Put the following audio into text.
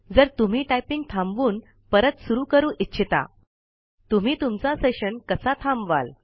जर तुम्ही टाइपिंग थांबवुन पुन्हा सुरू करू इच्छिता तुम्ही तुमचा सेशन कसे थांबवाल